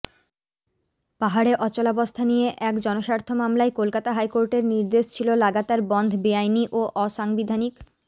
পাহাড়ে অচলাবস্থা নিয়ে এক জনস্বার্থ মামলায় কলকাতা হাইকোর্টের নির্দেশ ছিল লাগাতার বনধ বেআইনি ও অসাংবিধানিক